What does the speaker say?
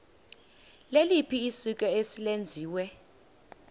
liliphi isiko eselenziwe